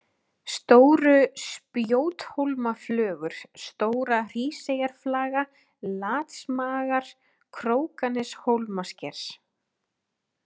Stóru-Spjóthólmaflögur, Stóra-Hríseyjarflaga, Latsmagar, Krókaneshólmasker